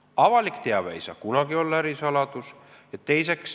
Avalik teave ei saa kunagi olla ärisaladus.